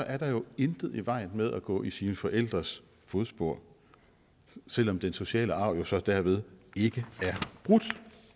er der jo intet i vejen med at gå i sine forældres fodspor selv om den sociale arv så dermed ikke er brudt